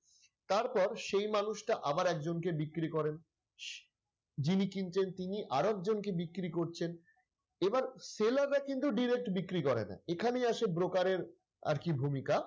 তারপর সেই মানুষটা আবার একজনকে বিক্রি করেন যিনি কিনতেন তিনি আরেক জনকে বিক্রি করছেন এবার seller রা কিন্তু direct বিক্রি করে না এখানেই আসে broker এর আরকি ভূমিকা।